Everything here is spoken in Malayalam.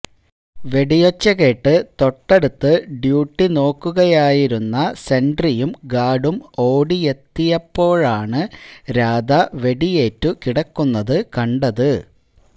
വെടിയൊച്ച കേട്ട് തൊട്ടടുത്ത് ഡ്യൂട്ടി നോട്ടുകയായിരുന്ന സെന്ട്രിയും ഗാര്ഡും ഓടിയെത്തിയ പ്പോഴാണ് രാധ വെടിയേറ്റു കിടക്കുന്നതു കണ്ടത്